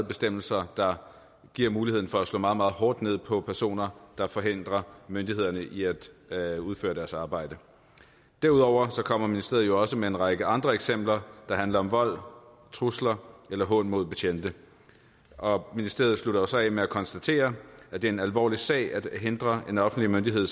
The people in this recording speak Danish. bestemmelser der giver muligheden for at slå meget meget hårdt ned på personer der forhindrer myndighederne i at at udføre deres arbejde derudover kommer ministeriet jo også med en række andre eksempler der handler om vold trusler eller hån mod betjente og ministeriet slutter så af med at konstatere at det er en alvorlig sag at hindre en offentlig myndighed